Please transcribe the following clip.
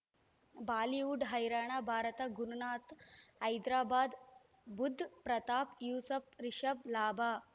Bollywood ಹೈರಾಣ ಭಾರತ ಗುರುನಾಥ ಹೈದರಾಬಾದ್ ಬುಧ್ ಪ್ರತಾಪ್ ಯೂಸುಫ್ ರಿಷಬ್ ಲಾಭ